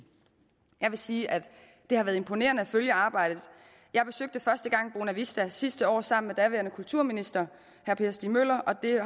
jeg vil sige at det har været imponerende at følge arbejdet jeg besøgte første gang bonavista sidste år sammen med daværende kulturminister herre per stig møller og det